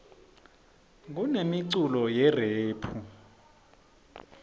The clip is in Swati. kunemiculo yerephu